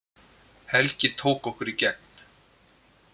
Helgi tók okkur í gegn